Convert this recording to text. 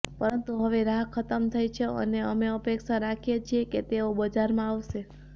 પરંતુ હવે રાહ ખતમ થઈ છે અને અમે અપેક્ષા રાખીએ છીએ કે તેઓ બજારમાં આવશે